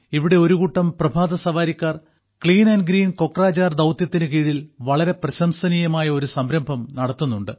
ഇവിടെ ഒരുകൂട്ടം പ്രഭാതസവാരിക്കാർ ക്ലീൻ ആൻഡ് ഗ്രീൻ കൊക്രാജാർ ദൌത്യത്തിന് കീഴിൽ വളരെ പ്രശംസനീയമായ ഒരു സംരംഭം നടത്തുന്നുണ്ട്